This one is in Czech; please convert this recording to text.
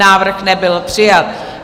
Návrh nebyl přijat.